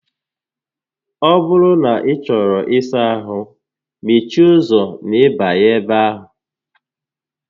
Ọ bụrụ na ị chọrọ ịsa ahụ, mechie ụzọ n'ịbanye ebe ahụ